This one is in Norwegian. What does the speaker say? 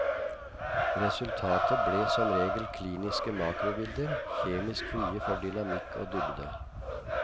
Resultatet ble som regel kliniske makrobilder, kjemisk frie for dynamikk og dybde.